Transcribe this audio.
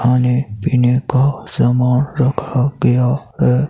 खाने पीने का सामान रखा गया है।